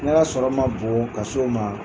Ne ya sɔrɔ ma bon ka so ma